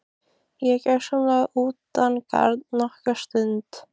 Ég er gjörsamlega utangarna nokkra stund.